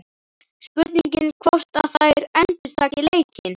Spurning hvort að þær endurtaki leikinn?